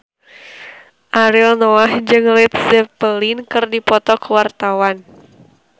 Ariel Noah jeung Led Zeppelin keur dipoto ku wartawan